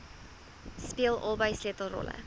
speel albei sleutelrolle